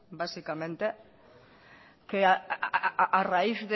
básicamente que a raíz